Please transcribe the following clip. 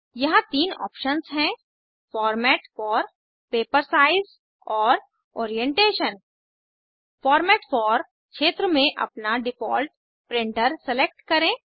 यहाँ तीन ऑप्शन्स हैं फॉर्मेट फॉर पेपर साइज और ओरिएंटेशन फॉर्मेट फॉर क्षेत्र में अपना डिफ़ॉल्ट प्रिंटर सेलेक्ट करें